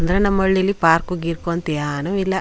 ಅಂದ್ರೆ ನಮ್ಮ ಹಳ್ಲಿಲಿ ಪಾರ್ಕ್ ಗಿರ್ಕ್ ಅಂತ ಏನು ಇಲ್ಲ.